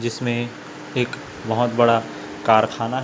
जिसमें एक बहोत बड़ा कारखाना--